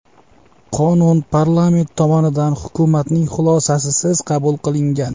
Qonun parlament tomonidan hukumatning xulosasisiz qabul qilingan.